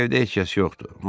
Evdə heç kəs yoxdu.